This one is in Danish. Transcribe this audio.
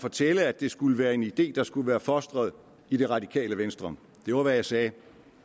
fortælle at det skulle være en idé der skulle være fostret i det radikale venstre det var hvad jeg sagde